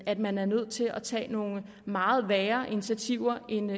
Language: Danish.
at man er nødt til at tage nogle meget værre initiativer end